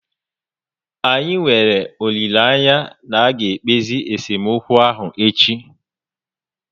Anyị nwere olileanya na aga ekpezi esemokwu ahụ echi niile